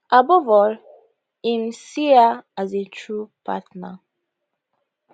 above all im see her as a true partner